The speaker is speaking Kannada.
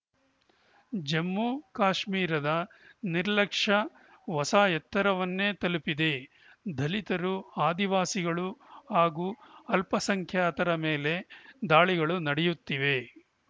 ಜಮ್ಮು ಕಾಶ್ಮೀರದ ನಿರ್ಲಕ್ಷ್ಯ ಹೊಸ ಎತ್ತರವನ್ನೇ ತಲುಪಿದೆ ದಲಿತರು ಆದಿವಾಸಿಗಳು ಹಾಗೂ ಅಲ್ಪಸಂಖ್ಯಾತರ ಮೇಲೆ ದಾಳಿಗಳು ನಡೆಯುತ್ತಿವೆ